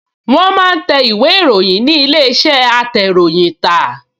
Wọ́n máa ń tẹ ìwé-ìròyìn ní ilé-iṣẹ́ atẹ̀ròyìntà